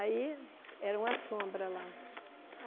Aí, era uma sombra lá.